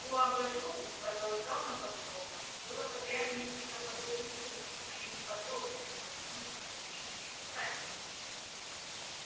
в уагадугу продолжал на ходу локонс было подряд несколько подобных случаев они подробно изложены в моем жизнеописании